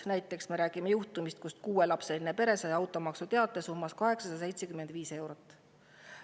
Näiteks üks juhtum, kus kuuelapseline pere sai automaksuteate summas 875 eurot.